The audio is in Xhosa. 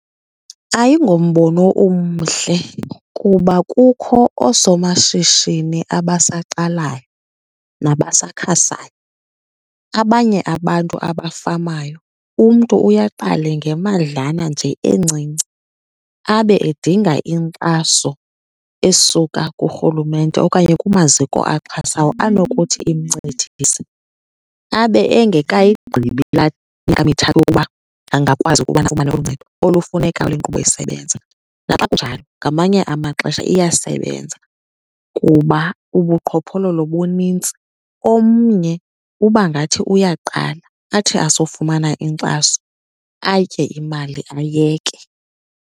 Ayingombono umhle kuba kukho oosomashishini abasaqalayo nabasakhasayo. Abanye abantu abafamayo umntu uye aqale ngemadlala nje encinci, abe edinga inkxaso esuka kurhulumente okanye kumaziko axhasawo anokuthi imncedise. Abe engekayigqibi laa yokuba angakwazi ukuba afumane uncedo olufunekayo inkqubo isebenze. Naxa kunjalo ngamanye amaxesha iyasebenza kuba ubuqhophololo bunintsi, omnye uba ngathi uyaqala athi asofumana inkxaso atye imali ayeke.